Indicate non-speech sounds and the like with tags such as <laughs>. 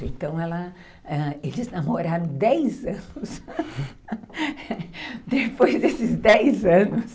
Então, eles namoraram dez <laughs> anos depois <laughs> desses dez anos.